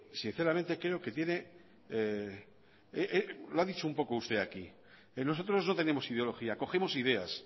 sinceramente creo que tiene lo ha dicho un poco usted aquí nosotros no tenemos ideología cogemos ideas